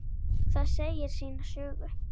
Það segir sína sögu.